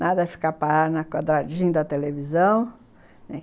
Nada de ficar parada na quadradinha da televisão.